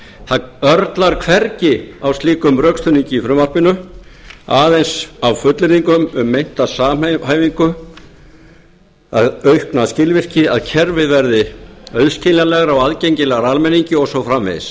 það örlar hvergi á slíkum rökstuðningi í frumvarpinu aðeins á fullyrðingum um meinta samhæfingu aukna skilvirkni að kerfið verði auðskiljanlegra og aðgengilegra almenningi og svo framvegis